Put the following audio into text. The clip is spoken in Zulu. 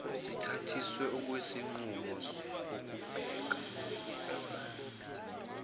sithathiswe okwesinqumo ngokubheka